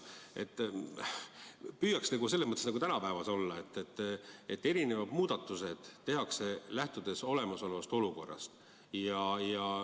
Püüaks selles mõttes tänases päevas olla, et muudatused tehakse lähtudes olemasolevast olukorrast.